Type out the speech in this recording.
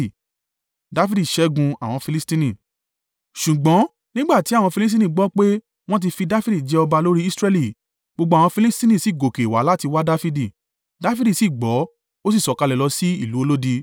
Ṣùgbọ́n nígbà tí àwọn Filistini gbọ́ pé, wọ́n ti fi Dafidi jẹ ọba lórí Israẹli, gbogbo àwọn Filistini sì gòkè wá láti wá Dafidi; Dafidi sì gbọ́, ó sì sọ̀kalẹ̀ lọ sí ìlú olódi.